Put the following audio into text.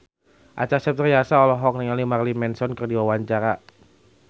Acha Septriasa olohok ningali Marilyn Manson keur diwawancara